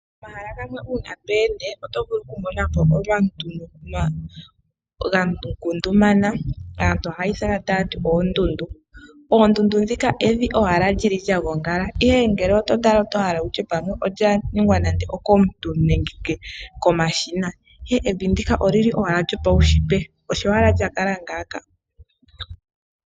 Omahala gamwe uuna to ende oto vulu okumona mo omavi ga ngundumana, aantu ohaya ithana taya ti oondundu. Oondundu evi lya gongala, ihe ngele oto tala oto hala okutya pamwe olya ningwa nande okomuntu nenge komashina, ihe evi ndika olili owala lo paunshitwe osho owala lya kala ngaaka.